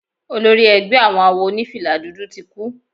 Olórí ẹgbẹ́ àwọn àwo onifila dúdú tí kú.